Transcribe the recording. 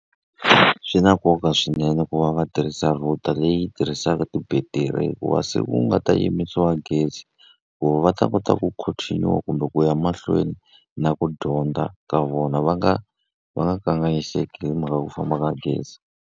Swi na nkoka swinene ku va va tirhisa router leyi tirhisaka ti-battery hikuva siku ku nga ta yimisiwa gezi, ku va va ta kota ku continue-a kumbe ku ya mahlweni na ku dyondza ka vona. Va nga va nga kanganyiseki hi mhaka ku famba ka gezi.